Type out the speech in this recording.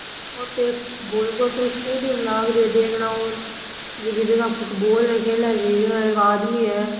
ओ तो एक फुटबॉल को सो स्टेडियम लाग रियो है देखनाऊ जकी जगह फुटबॉल खेले जकी जगह एक आदमी है।